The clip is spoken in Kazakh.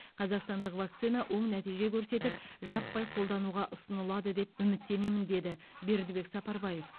қазақстандық вакцина оң нәтиже көрсетіп жаппай қолдануға ұсынылады деп үміттенемін деді бердібек сапарбаев